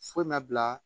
Foyi ma bila